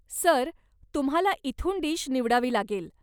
Sir, तुम्हाला इथून dish निवडावी लागेल.